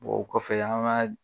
Bon o kɔfɛ an b'a